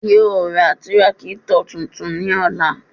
Yoo ra tírákítọ̀ tuntun ní ọ̀la